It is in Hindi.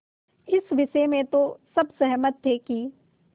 इस विषय में तो सब सहमत थे कि